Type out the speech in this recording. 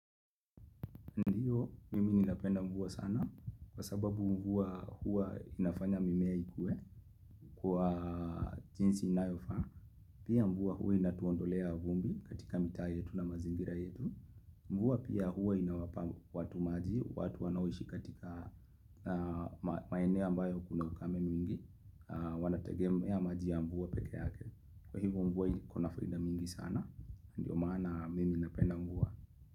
Ndio, mimi ninapenda mvua sana kwa sababu mvua huwa inafanya mimea ikue kwa jinsi inayofaa. Pia mvua huwa inatuondolea vumbi katika mitaa yetu na mazingira yetu. Mvua pia huwa inawapa watu maji, watu wanaoishi katika maeneo ambayo kuna ukame mwingi. Wanategea maji ya mvua pekee yake. Kwa hivyo mvua kuna faida mingi sana. Ndio, maana mimi napenda mvua.